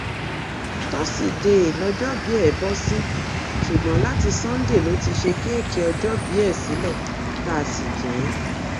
tọsídẹẹ lọjọòbí ẹ bọ sí ṣùgbọn láti sannde ló ti ṣe kéèkì ọjọòbí ẹ sílẹ tá a sì jẹ ẹ